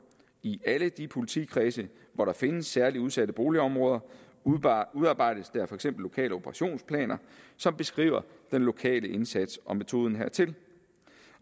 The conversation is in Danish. i alle de politikredse hvor der findes særlig udsatte boligområder udarbejdes der for eksempel lokale operationsplaner som beskriver den lokale indsats og metoden hertil